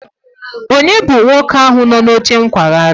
Ònye bụ nwoke ahụ nọ n'oche nkwagharị?